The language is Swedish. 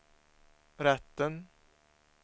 rätten